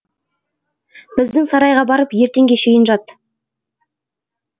біздің сарайға барып ертеңге шейін жат